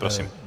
Prosím.